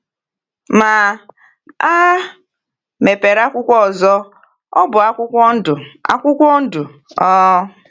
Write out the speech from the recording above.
Ma a mepere akwụkwọ ọzọ; ọ bụ akwụkwọ ndụ. akwụkwọ ndụ. um